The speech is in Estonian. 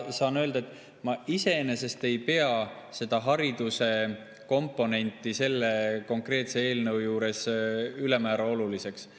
Saan öelda, et ma iseenesest ei pea seda hariduse komponenti selle konkreetse eelnõu juures ülemäära oluliseks.